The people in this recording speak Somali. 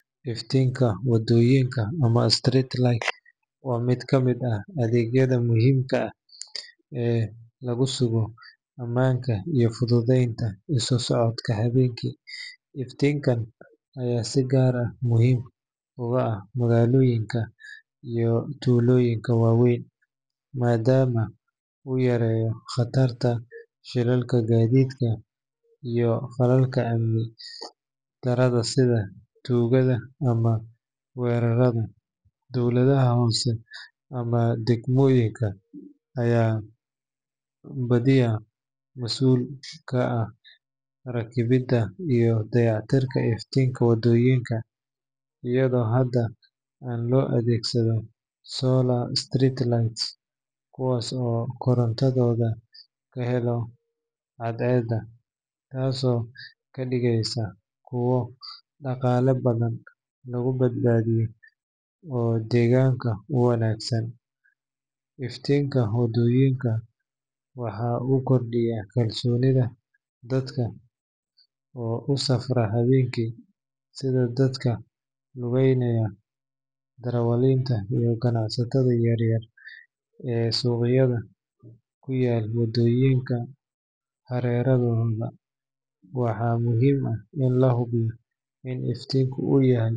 Iftiinka waddooyinka ama street light waa mid ka mid ah adeegyada muhiimka ah ee lagu sugo ammaanka iyo fududeynta isu socodka habeenkii. Iftiinkan ayaa si gaar ah muhiim ugu ah magaalooyinka iyo tuulooyinka waaweyn, maadaama uu yareeyo khatarta shilalka gaadiidka iyo falalka amni darrada sida tuugada ama weerarada. Dowladaha hoose ama degmooyinka ayaa badiyaa mas’uul ka ah rakibidda iyo dayactirka iftiinka waddooyinka, iyadoo hadda aad loo adeegsado solar street lights kuwaas oo korontadooda ka hela cadceedda, taasoo ka dhigeysa kuwo dhaqaale badan lagu badbaadiyo oo deegaanka u wanaagsan. Iftiinka waddooyinka waxa uu kordhiyaa kalsoonida dadka ku safra habeenkii, sida dadka lugaynaya, darawaliinta iyo ganacsatada yar yar ee suuqyada ku yaal waddooyinka hareerahooda. Waxaa muhiim ah in la hubiyo in iftiinka uu yahay.